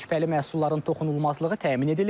Şübhəli məhsulların toxunulmazlığı təmin edilib.